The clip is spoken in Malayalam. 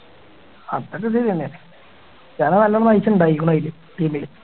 അപ്പം ഗതി തന്നെ ക്രിസ്റ്റിയാനോ നല്ല prize ഉണ്ടായിരിക്കണു അയില് team ല്